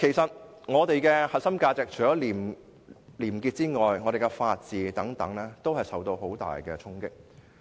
在我們的核心價值中，除廉潔外，法治亦受到很大衝擊。